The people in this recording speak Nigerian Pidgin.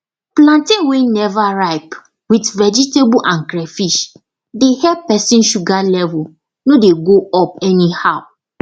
plantain wey never ripe with vegetable and crayfish dey help person sugar level no dey go up anyhow